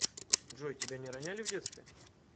джой тебя не роняли в детстве